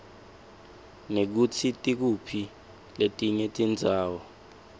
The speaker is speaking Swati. nekutsi tikuphi letinye tindzawo